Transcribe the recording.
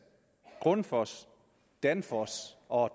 grundfos danfoss og